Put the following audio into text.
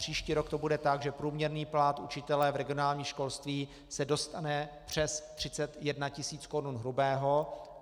Příští rok to bude tak, že průměrný plat učitele v regionálním školství se dostane přes 31 tisíc korun hrubého.